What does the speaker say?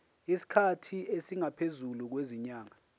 isikhathi esingaphezulu kwezinyanga